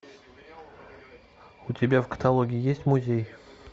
у тебя в каталоге есть музей